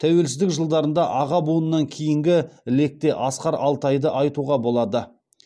тәуелсіздік жылдарында аға буыннан кейінгі лекте асқар алтайды айтуға болады